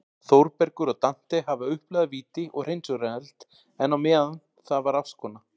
Þórbergur og Dante hafa upplifað víti og hreinsunareld, en á meðan það var ástkona